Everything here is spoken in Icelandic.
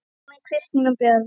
Ragnar, Kristín og börn.